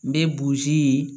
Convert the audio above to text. N bɛ burusi ye